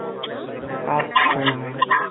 আ ত চ্ছা আ